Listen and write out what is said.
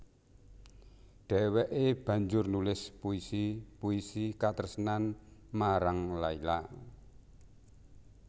Dheweké banjur nulis puisi puisi katresnan marang Layla